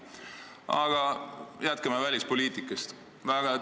Aga jätkame välispoliitika teemal.